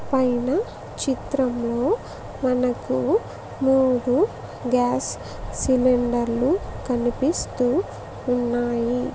పైన చిత్రంలో మనకు మూడు గ్యాస్ సిలిండర్లు కనిపిస్తూ ఉన్నాయి.